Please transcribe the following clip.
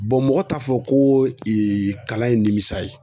mɔgɔ t'a fɔ ko kalan ye nimisi ye.